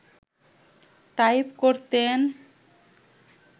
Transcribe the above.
type করতেন